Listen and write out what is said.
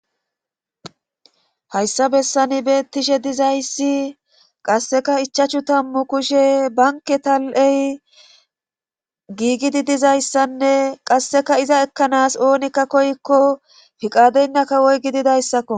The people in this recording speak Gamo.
Hayssa bessani beettishe dizayssi qasseka ichachu tammu kushe banke tal7ey giigidi dizayssanne qasseka iza ekkanas oonikka koyikko fiqadeynna kawoy gididayssakko.